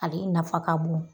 Ale nafa ka bon